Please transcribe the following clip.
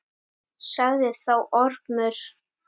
Sagði þá Ormur